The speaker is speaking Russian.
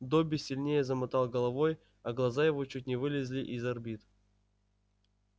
добби сильнее замотал головой а глаза его чуть не вылезли из орбит